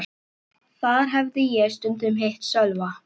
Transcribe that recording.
Þar hafði ég stundum hitt Sölva.